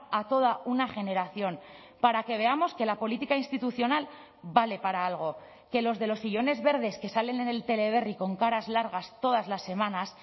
a toda una generación para que veamos que la política institucional vale para algo que los de los sillones verdes que salen en el teleberri con caras largas todas las semanas